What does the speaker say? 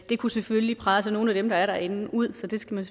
det kunne selvfølgelig presse nogle af dem der er derinde ud så det skal man